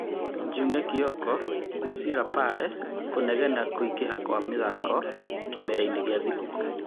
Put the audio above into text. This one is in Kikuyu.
Njung'e Kioko: Kũci wa Lapare kũnegena kũingĩha kwa mĩthako kĩmera-inĩ gĩa thigũkũ.